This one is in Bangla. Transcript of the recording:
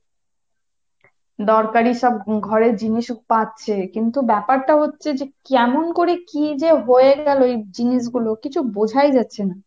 দরকারি সব ঘরের জিনিসও পাচ্ছে কিন্তু ব্যাপারটা হচ্ছে যে কেমন করে কী যে হয়ে গেলো এই জিনিস গুলো কিছু বুঝাই যাচ্ছে না